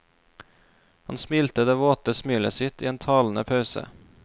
Han smilte det våte smilet sitt i en talende pause.